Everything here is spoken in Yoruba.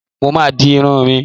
Mo ma di irun mi.